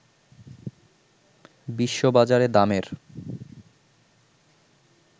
বিশ্ববাজারে দামের